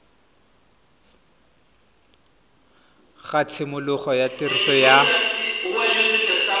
ga tshimologo ya tiriso ya